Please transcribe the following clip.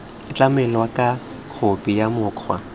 tlamelwa ka khophi ya mokgwa